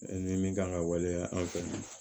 Ni min kan ka waleya an fɛ yan